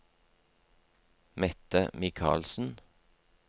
Mette Mikalsen